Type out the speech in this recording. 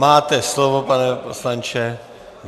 Máte slovo, pane poslanče.